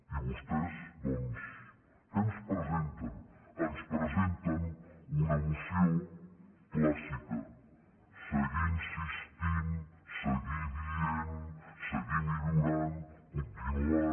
i vostès doncs què ens presenten ens presenten una moció clàssica seguir insistint seguir dient seguir millorant continuant